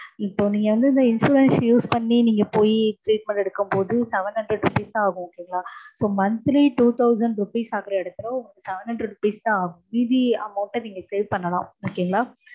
இப்போ நீங்க வந்து இந்த insurance use பண்ணி நீங்க போய் treatment எடுக்கும்போது seven hundred rupees தா ஆகும் okay ங்களா? இப்போ monthly two thousand ஆகற இடத்துல seven hundred rupees தா ஆகும் மீதி amount நீங்க save பண்ணலாம் okay ங்களா